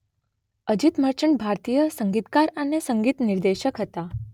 અજિત મર્ચન્ટ ભારતીય સંગીતકાર અને સંગીત નિર્દેશક હતા.